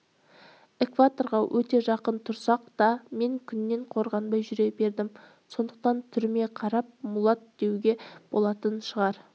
экваторға өте жақын тұрсақ та мен күннен қорғанбай жүре бердім сондықтан түріме қарап мулат деуге болатын шығар